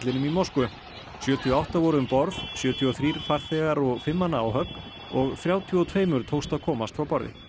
í Moskvu sjötíu og átta voru um borð sjötíu og þrír farþegar og fimm manna áhöfn og þrjátíu og tveimur tókst að komast frá borði